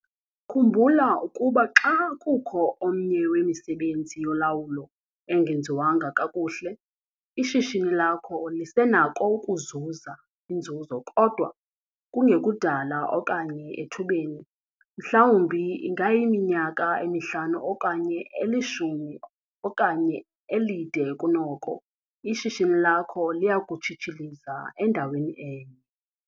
Khumbula ukuba xa kukho omnye wemisebenzi yolawulo engenziwanga kakuhle, ishishini lakho lisenako ukuzuza inzuzo kodwa kungekudala okanye ethubeni - mhlawumbi ingayiminyaka emihlanu okanye elishumi okanye elide kunoko - ishishini lakho liya kutshitshiliza endaweni enye.